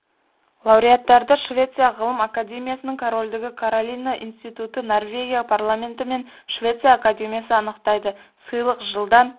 лауреаттарды швеция ғылым академиясының корольдігі каролина институты норвегия парламенті мен швеция академиясы анықтайды сыйлық жылдан